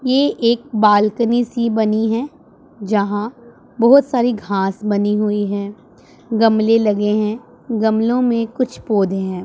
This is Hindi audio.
ये एक बालकनी सी बनी है जहां बहुत सारी घास बनी हुई हैं गमले लगे हैं गमलों में कुछ पौधे हैं।